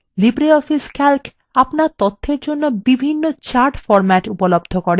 libreoffice calc আপনার তথ্যর জন্য বিভিন্ন chart formats উপলব্ধ করে